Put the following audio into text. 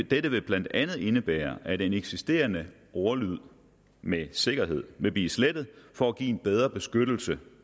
dette vil blandt andet indebære at den eksisterende ordlyd med sikkerhed vil blive slettet for at give en bedre beskyttelse